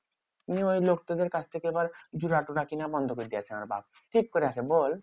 নিয়ে ওই লোকটা দের কাছ থেকে এবার জোড়া টোরা কিনা বন্ধ করে দিয়েছে আমার বাপ্। ঠিক করিয়াছে বল?